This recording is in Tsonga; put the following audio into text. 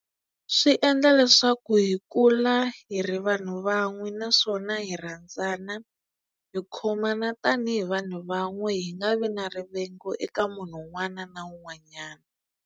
Swi endla leswaku hi kula hi ri vanhu van'we naswona hi rhandzana hi khomana tanihi vanhu van'we hi nga vi na rivengo eka munhu un'wana na un'wanyana.